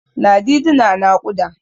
Ladidi na naƙuda.